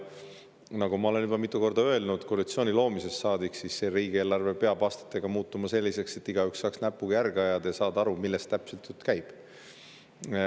Nagu ma olen juba koalitsiooni loomisest saadik mitu korda öelnud, riigieelarve peab aastatega muutuma selliseks, et igaüks saaks näpuga järge ajada ja saada aru, millest täpselt jutt käib.